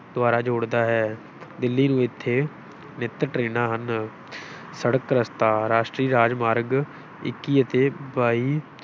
ਦੁਆਰਾ ਜੋੜਦਾ ਹੈ ਦਿੱਲੀ ਨੂੰ ਇੱਥੇ ਨਿੱਤ ਟਰੇਨਾ ਹਨ ਸੜਕ ਰਸਤਾ ਰਾਸ਼ਟਰੀ ਰਾਜ ਮਾਰਗ ਇੱਕੀ ਅਤੇ ਬਾਈ